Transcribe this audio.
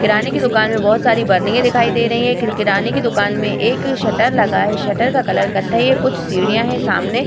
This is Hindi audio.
किराने की दुकान मे बहुत सारी बर्निन्गे दिखाई दे रही है किराने की दुकान में एक सटर लगा है सटर का कलर कत्थे है कुछ सीढ़ियां है सामने |